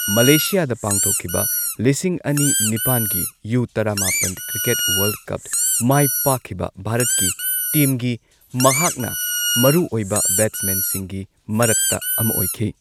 ꯃꯂꯦꯁꯤꯌꯥꯗ ꯄꯥꯡꯊꯣꯛꯈꯤꯕ ꯂꯤꯁꯤꯡ ꯑꯅꯤ ꯅꯤꯄꯥꯟꯒꯤ ꯌꯨ ꯇꯔꯥꯃꯥꯄꯟ ꯀ꯭ꯔꯤꯀꯦꯠ ꯋꯥꯔꯜꯗ ꯀꯞ ꯃꯥꯏ ꯄꯥꯛꯈꯤꯕ ꯚꯥꯔꯠꯀꯤ ꯇꯤꯝꯒꯤ ꯃꯍꯥꯛꯅ ꯃꯔꯨꯑꯣꯏꯕ ꯕꯦꯠꯁꯃꯦꯟꯁꯤꯡꯒꯤ ꯃꯔꯛꯇ ꯑꯃ ꯑꯣꯏꯈꯤ꯫